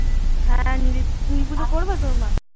হ্যাঁ নীল পুজো নীল পুষো করবে তোর মা?